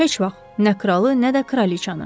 Heç vaxt, nə kralı, nə də kraliçanı.